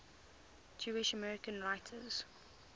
jewish american writers